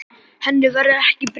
Henni verður ekki breytt.